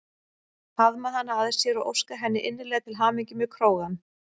Faðma hana að sér og óska henni innilega til hamingju með krógann.